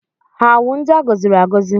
Ha wụ ndị a gọziri agọzi?